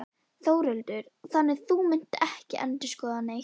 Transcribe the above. Þórhildur: Þannig að þú munt ekki endurskoða það neitt?